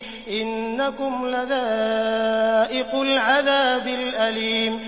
إِنَّكُمْ لَذَائِقُو الْعَذَابِ الْأَلِيمِ